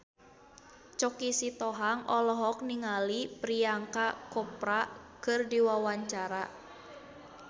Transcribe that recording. Choky Sitohang olohok ningali Priyanka Chopra keur diwawancara